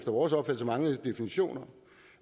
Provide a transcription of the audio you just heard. vores opfattelse manglende definitioner